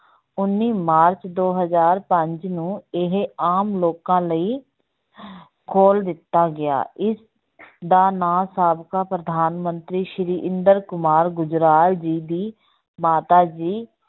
ਉੱਨੀ ਮਾਰਚ ਦੋ ਹਜਾਰ ਪੰਜ ਨੂੰ ਇਹ ਆਮ ਲੋਕਾਂ ਲਈ ਖੋਲ ਦਿੱਤਾ ਗਿਆ, ਇਸ ਦਾ ਨਾਂ ਸਾਬਕਾ ਪ੍ਰਧਾਨ ਮੰਤਰੀ ਸ੍ਰੀ ਇੰਦਰ ਕੁਮਾਰ ਗੁਜਰਾਲ ਜੀ ਦੀ ਮਾਤਾ ਜੀ